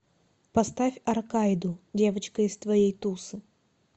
поставь аркайду девочка из твоей тусы